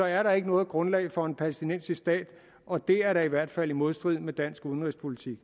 er der ikke noget grundlag for en palæstinensisk stat og det er da i hvert fald i modstrid med dansk udenrigspolitik